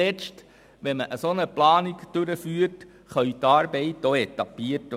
Wenn man solch eine Planung durchführt, können die Arbeiten auch etabliert werden.